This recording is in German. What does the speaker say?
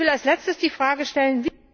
Ich will als Letztes die Frage stellen